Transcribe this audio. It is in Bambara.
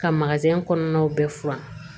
Ka kɔnɔnaw bɛɛ furan